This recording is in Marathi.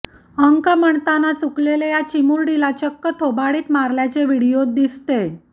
अंक म्हणताना चुकलेल्या या चिमुरडीला चक्क थोबाडीतही मारल्याचे व्हिडीओत दिसतेय